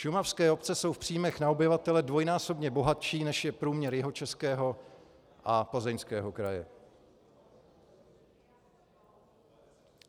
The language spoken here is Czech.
Šumavské obce jsou v příjmech na obyvatele dvojnásobně bohatší, než je průměr Jihočeského a Plzeňského kraje.